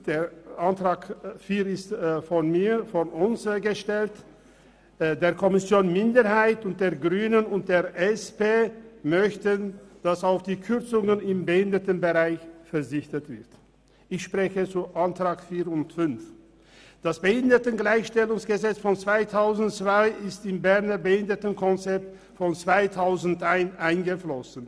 Das Bundesgesetz über die Beseitigung von Benachteiligungen von Menschen mit Behinderungen (Behindertengleichstellungsgesetz, BehiG) von 2002 ist ins Berner Behindertenkonzept aus dem Jahr 2011 eingeflossen.